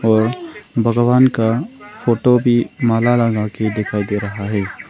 और भगवान का फोटो भी माला लगा के दिखाई दे रहा है।